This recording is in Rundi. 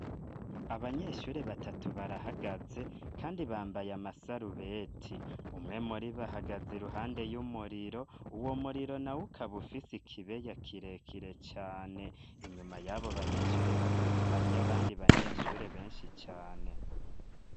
Abanyeshure batatu barahagaze kandi bambaye amasarubeti umwe muribo ahagaze iruhande y'umuriro uwo muriro nawo ukaba ufisi kibeya kire kire cane inyuma yabo banyeshure batatu hariyo abandi banyeshure benshi cane.